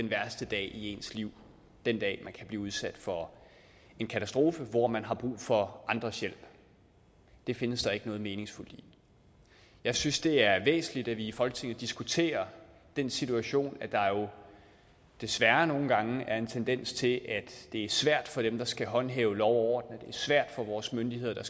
værste dag i ens liv den dag man kan blive udsat for en katastrofe og hvor man har brug for andres hjælp det findes der ikke noget meningsfuldt i jeg synes det er væsentligt at vi i folketinget diskuterer den situation at der jo desværre nogle gange er en tendens til at det er svært for dem der skal håndhæve lov er svært for vores myndigheder